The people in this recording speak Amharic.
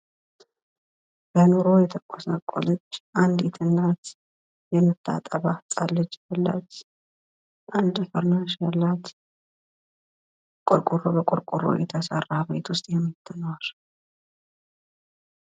በኑሮ የተጎሳቆለች አንዲት እናት፣ የምታጠባ ህጻን ልጅ ያላት፣ አንድ ፍራሽ ያላት፣ ቆርቆሮ በቆርቆሮ ቤት ዉስጥ የምትኖር።